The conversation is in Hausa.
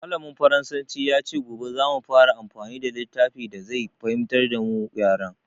Mallamin faransanci ya ce gobe za mu fara amfani da littafin da zai fahimtar da mu yaren.